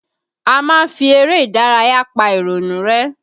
A máa ń fi eré ìdárayá pa ìrònú rẹ́